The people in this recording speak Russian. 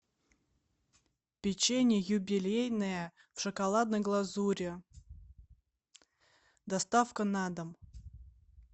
печенье юбилейное в шоколадной глазури доставка на дом